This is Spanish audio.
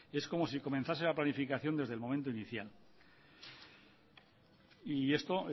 es como si comenzase la planificación desde el momento inicial y esto